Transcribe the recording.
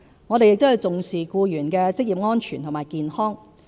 我們亦重視僱員的職業安全和健康。